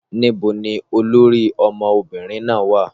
Níbo ni olórí ọmọbìnrin náà wà?